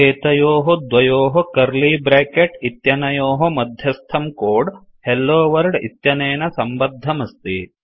एतयोः द्वयोः curly bracket इत्यनयोः मध्यस्थं कोड हेलोवर्ल्ड इत्यनेन सम्बद्धमस्ति